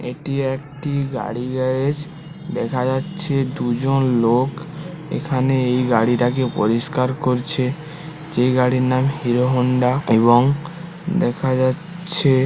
এটি একটি গাড়ি গ্যারেজ দেখা যাচ্ছে দুজন লোক এখানে এই গাড়ি টাকে পরিষ্কার করছে যে গাড়ির নাম হিরো হোন্ডা দেখা যাচ্ছে--